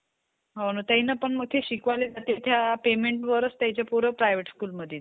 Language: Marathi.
सलमान खान ची movie किसीका भाई किसकी जान. आजूक आता सलमान खान ची movie बघायचीयं आपल्याला. त्यांनतर आता शाहरुख खानची पण movie येऊ लागली, जवान.